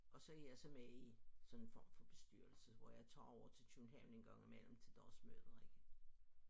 Og så er jeg så med i sådan en form for bestyrelse hvor jeg tager over til København en gang imellem til dagsmøder ikke